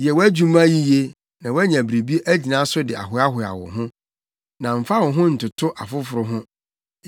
Yɛ wʼadwuma yiye na woanya biribi agyina so de ahoahoa wo ho. Na mfa wo ho ntoto afoforo ho;